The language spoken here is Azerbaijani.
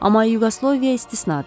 Amma Yuqoslaviya istisnadır.